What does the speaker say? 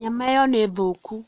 Nyama ĩyo nĩ thũku